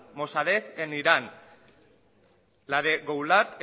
mosarej en irán la de goulad